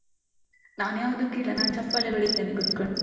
ನಾನ್ ಯಾವ್ದುಕ್ಕು ಇಲ್ಲ. ನಾನ್ ಚಪ್ಪಾಳೆ ಬಡಿತೆನೆ ಕುತ್ಕೊಂಡು.